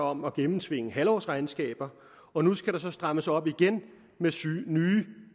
om at gennemtvinge halvårsregnskaber og nu skal der så strammes op igen